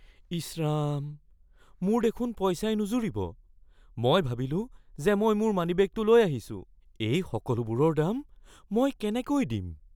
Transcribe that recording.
ইচ ৰাম! মোৰ দেখোন পইচাই নুজুৰিব, মই ভাবিলো যে মই মোৰ মানিবেগটো লৈ আহিছোঁ। এই সকলোবোৰৰ দাম মই কেনেকৈ দিম?